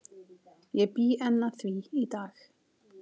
Ég bý enn að því í dag.